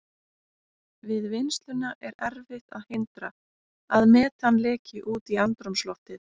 Við vinnsluna er erfitt að hindra að metan leki út í andrúmsloftið.